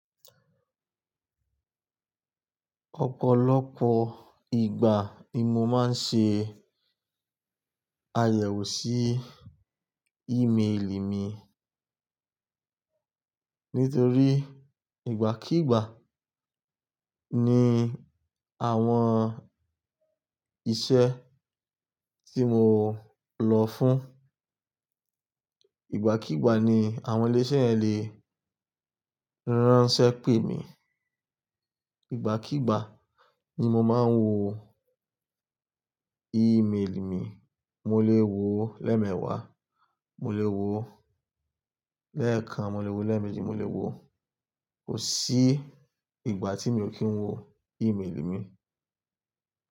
Ọ̀pọ̀lọpọ̀ ìgbà ni mo máa ń ṣe àyẹ̀wò sí email mi. Nítorí ìgbàkígbà ni àwọn iṣẹ́ tí mo lọ fún, ìgbàkíigbà ni àwọn ilé iṣẹ́ yen lè ránṣẹ́ pè mí, ìgbàkíigbà ni mo máa ń wo email mi. Mo lè wo lẹ́ẹ̀mewa, mo lè wo lẹ́ẹ̀kan, mo lè wo lẹ́ẹ̀meji, mo lè wo kò sí ìgbà tí mi ò kí ń wo email mi.